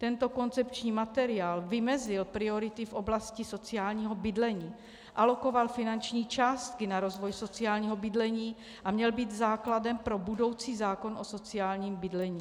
Tento koncepční materiál vymezil priority v oblasti sociálního bydlení, alokoval finanční částky na rozvoj sociálního bydlení a měl být základem pro budoucí zákon o sociálním bydlení.